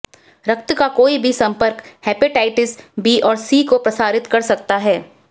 रक्त का कोई भी संपर्क हेपेटाइटिस बी और सी को प्रसारित कर सकता है